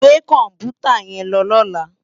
Gbé kòmpútá yèn lò lòlá